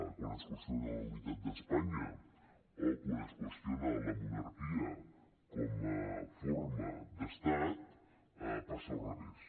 quan es qüestiona la unitat d’espanya o quan es qüestiona la monarquia com a forma d’estat passa al revés